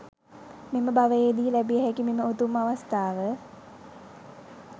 මෙම භවයේදී ලැබිය හැකි මෙම උතුම් අවස්ථාව,